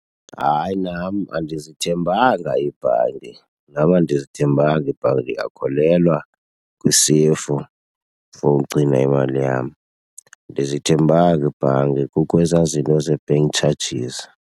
Hayi, nam andizithembanga ibhanki. Nam andizithembanga ibhanki ndiyakholelwa kwisefu for ugcina imali yam. Andizithembanga ibhanki, kukho ezaa zinto zee-bank charges.